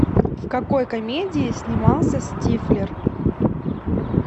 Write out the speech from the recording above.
в какой комедии снимался стифлер